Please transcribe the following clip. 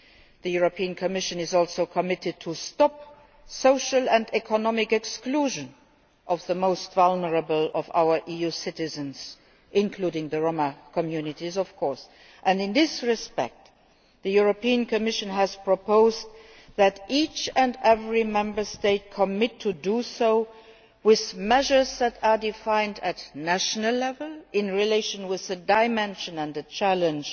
The European Commission is also committed to stopping social and economic exclusion of the most vulnerable of our EU citizens, including the Roma communities, of course, and in this respect, the European Commission has proposed that every Member State commit to do so with measures that are defined at national level, in relation to the dimension and challenge